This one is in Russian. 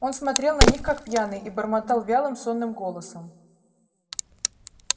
он смотрел на них как пьяный и бормотал вялым сонным голосом